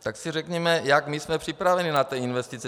Tak si řekněme, jak my jsme připraveni na ty investice.